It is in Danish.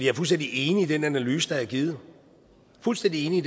er fuldstændig enig i den analyse der er givet fuldstændig enig